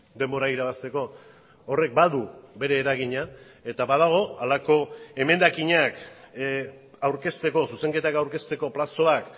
denbora irabazteko horrek badu bere eragina eta badago halako emendakinak aurkezteko zuzenketak aurkezteko plazoak